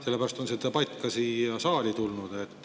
Sellepärast on see debatt ka siia saali tulnud.